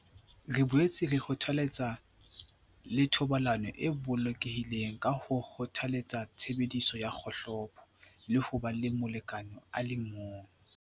"Re boetse re kgothaletsa le thobalano e bolokehileng ka ho kgothaletsa tshebediso ya kgohlopo le ho ba le molekane a le mong."